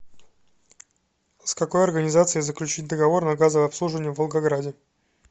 с какой организацией заключить договор на газовое обслуживание в волгограде